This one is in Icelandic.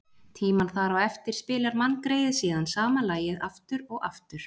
tímann þar á eftir spilar manngreyið síðan sama lagið aftur og aftur.